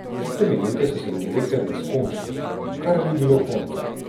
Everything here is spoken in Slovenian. Tiste minute so se mi vlekle v neskončno, kar ni bilo konca.